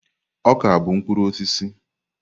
Ọka bụ mkpụrụ osisi.